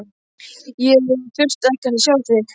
Ég þurfti ekkert að sjá þig.